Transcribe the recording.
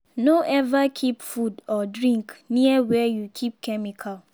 no ever keep food or drink near where you keep chemical.